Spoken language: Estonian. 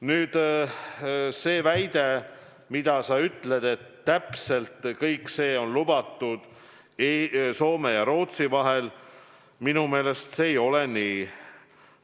Nüüd, see väide, et just kõik see on lubatud Soome ja Rootsi vahel –, minu meelest see ei ole nii.